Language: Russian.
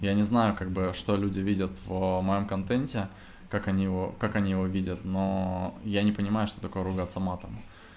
я не знаю как бы что люди видят в моём контенте как они его как они его видят но я не понимаю что такое ругаться матом